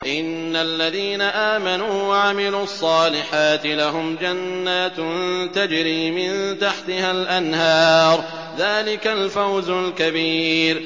إِنَّ الَّذِينَ آمَنُوا وَعَمِلُوا الصَّالِحَاتِ لَهُمْ جَنَّاتٌ تَجْرِي مِن تَحْتِهَا الْأَنْهَارُ ۚ ذَٰلِكَ الْفَوْزُ الْكَبِيرُ